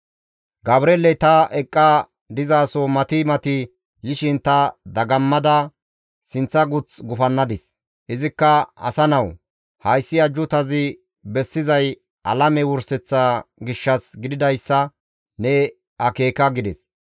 Gabreeley ta eqqa dizaso mati mati yishin ta dagammada sinththa guth gufannadis; izikka, «Asa nawu! Hayssi ajjuutazi bessizay alame wurseththa gishshas gididayssa ne akeeka» gides.